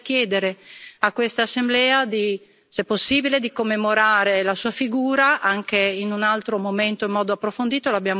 Vorrei chiedere a quest'Assemblea, se possibile, di commemorare la sua figura anche in un altro momento in modo approfondito.